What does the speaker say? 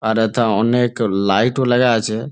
আর এথা অনেক লাইট ও লাগা আছে।